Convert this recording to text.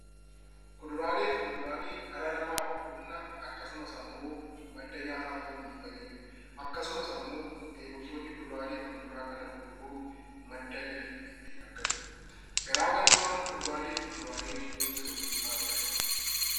Kuduraalee fi muduraaleen dhala namaaf humna akkasumas immoo madda nyaataa ta'uun ni fayyadu. Akkasumas, qotee bultoonni kuduraalee fi muduraalee kana gurguruun madda galii ittiin argatu. Garaa garummaan kuduraalee fi muduraalee jidduu jiru maalidha?